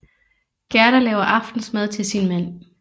Gerda laver aftensmad til sin mand